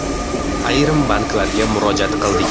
Ayrim banklarga murojaat qildik.